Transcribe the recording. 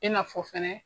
I n'a fɔ fɛnɛ